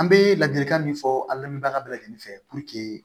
An bɛ ladilikan min fɔ alamdubaga bɛɛ lajɛlen fɛ